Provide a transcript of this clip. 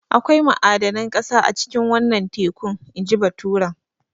Akwai ma'adanan ƙasa a cikin wannan tekun inji baturen.